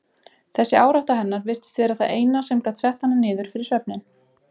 Þessi árátta hennar virtist vera það eina sem gat sett hana niður fyrir svefninn.